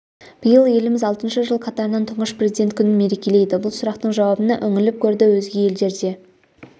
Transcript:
биыл еліміз алтыншы жыл қатарынан тұңғыш президент күнін мерекелейді бұл сұрақтың жауабына үңіліп көрді өзге елдерде